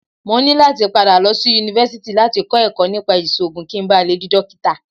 Mo ní láti padà lọ sí Yunifásítì láti kọ́ ẹ̀kọ́ nípa ìṣògùn kí n ba le dí Dókítà.